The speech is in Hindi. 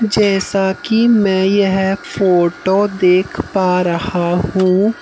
जैसा कि मैं यह फोटो देख पा रहा हूँ।